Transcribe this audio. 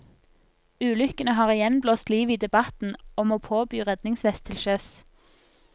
Ulykkene har igjen blåst liv i debatten om å påby redningsvest til sjøs.